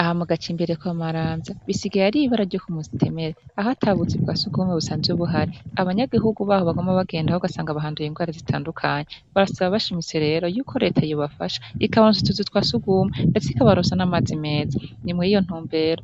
Aha mugacimbiri kwa Maramvya bisigaye Ari ibara ryo kumutemere, aho atabuzu bwasugumwe buhari , abanyagihugu baho baguma bagenda ugasanga bahanduye ingwara zitandukanye barasaba lero bashimitse yuko reta yobafasha ikbaronsa utuzu twasugumwe ndetse ikbaronsa namazi meza ni muri iyo ntumbero